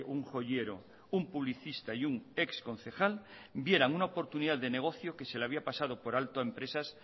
un joyero un publicista y un exconcejal vieran una oportunidad de negocio que se les había pasado por alto a empresas